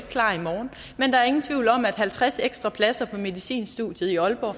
klar i morgen men der er ingen tvivl om at halvtreds ekstra pladser på medicinstudiet i aalborg